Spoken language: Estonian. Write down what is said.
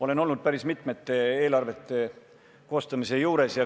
Olen olnud päris mitmete eelarvete koostamise juures.